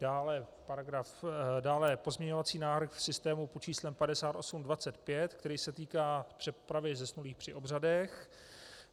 Dále pozměňovací návrh v systému pod číslem 5825, který se týká přepravy zesnulých při obřadech.